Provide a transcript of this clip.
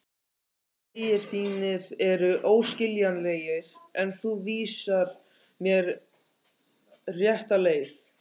Vegir þínir eru óskiljanlegir en þú vísar mér rétta leið.